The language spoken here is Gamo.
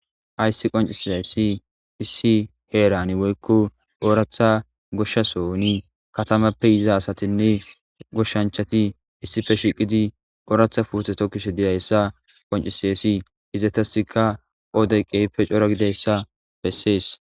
Aysi qoncisiassi issi heerani woykko ooratha goshshasoni katamappe iza asatinne goshshanchati issife shiqidi ooratha puuteto kishe diyayssa qoncisassi izatasika oodey qeype cora gideyssa bessees.